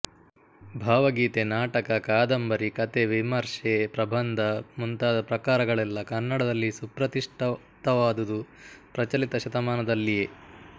ಭಾವಗೀತೆ ನಾಟಕ ಕಾದಂಬರಿ ಕಥೆ ವಿಮರ್ಶೆ ಪ್ರಬಂಧ ಮುಂತಾದ ಪ್ರಕಾರಗಳೆಲ್ಲ ಕನ್ನಡದಲ್ಲಿ ಸುಪ್ರತಿಷ್ಠಿತವಾದುದು ಪ್ರಚಲಿತ ಶತಮಾನದಲ್ಲಿಯೇ